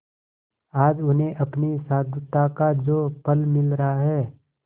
आज उन्हें अपनी साधुता का जो फल मिल रहा है